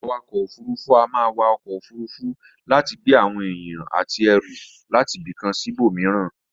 Awakò òfurufú a máa wa okò òfurufú láti gbé àwon èyàn àti erù látibìkan síbò míràn